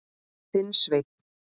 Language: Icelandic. Þinn Sveinn.